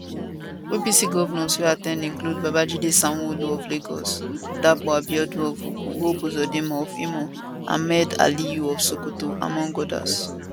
apc govnors wey at ten d include babajide sanwoolu of lagos dapo abiodun of ogun hope uzodinma of imo and ahmad aliyu of sokoto among odas